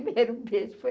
O primeiro beijo foi...